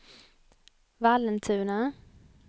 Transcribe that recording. Vallentuna